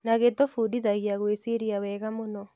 Na gĩtũbundithagia gwĩciria wega mũno.